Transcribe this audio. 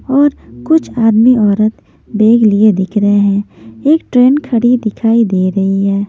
और कुछ आदमी औरत बेग लिए दिख रहे हैं एक ट्रेन खड़ी दिखाई दे रही है।